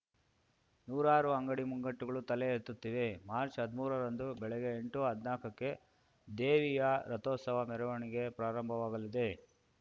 ನೂರಾರು ಅಂಗಡಿ ಮುಗ್ಗಟ್ಟುಗಳು ತಲೆ ಎತ್ತುತ್ತಿವೆ ಮಾರ್ಚ್ ಹದ್ಮೂರ ರಂದು ಬೆಳಿಗ್ಗೆ ಎಂಟುಹದ್ನಾಕಕ್ಕೆ ದೇವಿಯ ರಥೋತ್ಸವ ಮೆರವಣಿಗೆ ಪ್ರಾರಂಭವಾಗಲಿದೆ